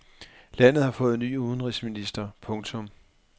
Landet har fået ny udenrigsminister. punktum